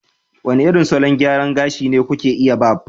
wane irin salon gyara gashi ne za ku iya Barb